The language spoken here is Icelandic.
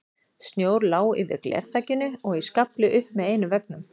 Snjór lá yfir glerþakinu og í skafli upp með einum veggnum.